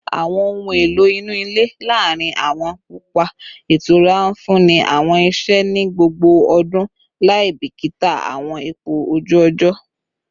Awọn ohun elo inu ile laarin awọn papa itura nfunni awọn iṣẹ ni gbogbo ọdun laibikita awọn ipo oju ojo